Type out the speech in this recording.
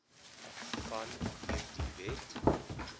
van hierdie wet